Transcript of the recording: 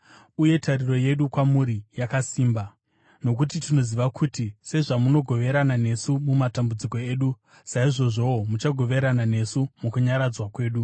Uye tariro yedu kwamuri yakasimba, nokuti tinoziva kuti sezvamunogoverana nesu mumatambudziko edu, saizvozvowo muchagoverana nesu mukunyaradzwa kwedu.